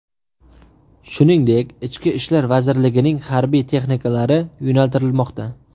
shuningdek Ichki ishlar vazirligining harbiy texnikalari yo‘naltirilmoqda.